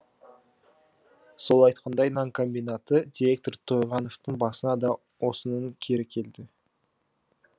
сол айтқандай нан комбинаты директоры тойғановтың басына да осының кері келді